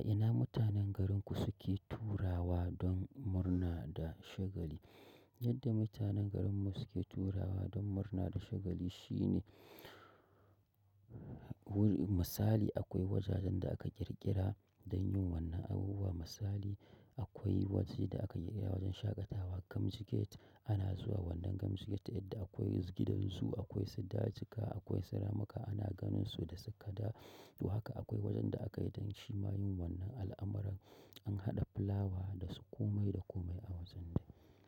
A ina mutanen garinku suke taruwa don murna da shagali? Yadda mutanen garinmu suke taruwa don murna da shagali shine wuri misali akwai wajajen da aka ƙirƙira don yin wannan abubuwan. Misali akwai waje da aka ƙirƙira wajen shaƙatawa gamjigeta ana zuwa wannan gamjiget yadda akwai gidansu, akwai sadacika, akwai siramuka ana ganin su da tsikada. To haka akwai wajen da aka yi don shima yin wannan al'amuran an haɗa fulawa da su komai da komai a wajen dai.